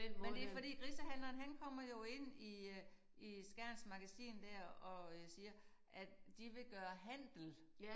Men det fordi grisehandleren han kommer jo ind i øh i Skjerns magasin der og øh siger at de vil gøre handel